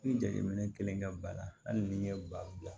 Ni jateminɛ kɛlen ka bana hali ni n ye ba bila